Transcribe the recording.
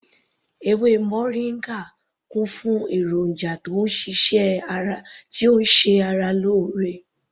Ewé moringa kún fún èròjà tí ó ń ṣe ara lóore